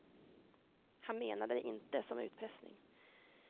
Han menade det inte som utpressning.